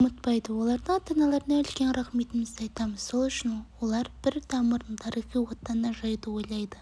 ұмытпайды олардың ата-аналарына үлкен рақметімізді айтамыз сол үшін олар бір тамырын тарихи отанына жаюды ойлайды